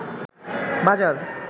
বাজার